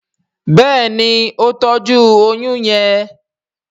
Béèni o tọjú oyún yén.